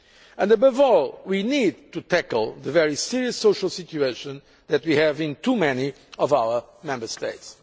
and above all we need to tackle the very serious social situation that we have in too many of our Member States.